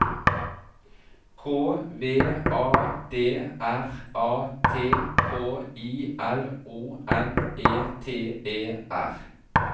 K V A D R A T K I L O M E T E R